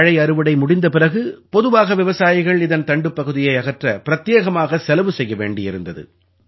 வாழை அறுவடை முடிந்த பிறகு பொதுவாக விவசாயிகள் இதன் தண்டுப் பகுதியை அகற்ற பிரத்யேகமாக செலவு செய்ய வேண்டியிருந்தது